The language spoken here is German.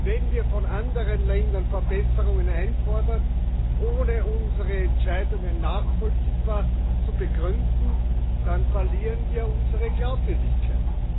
Wenn wir von anderen Ländern Verbesserungen einfordern, ohne unsere Entscheidungen nachvollziehbar zu begründen, dann verlieren wir unsere Glaubwürdigkeit.